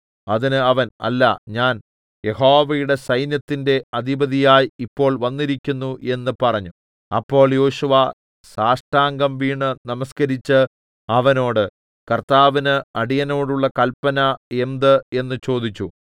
അതിന് അവൻ അല്ല ഞാൻ യഹോവയുടെ സൈന്യത്തിന്റെ അധിപതിയായി ഇപ്പോൾ വന്നിരിക്കുന്നു എന്ന് പറഞ്ഞു അപ്പോൾ യോശുവ സാഷ്ടാംഗം വീണ് നമസ്കരിച്ച് അവനോട് കർത്താവിന് അടിയനോടുള്ള കല്പന എന്ത് എന്ന് ചോദിച്ചു